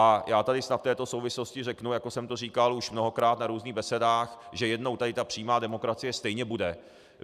A já tady snad v této souvislosti řeknu, jako jsem to říkal už mnohokrát na různých besedách, že jednou tady ta přímá demokracie stejně bude.